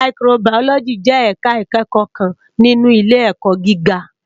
Màyíkróbàyólòjí jè èká ikèékò kán ninú ilé èkò gigá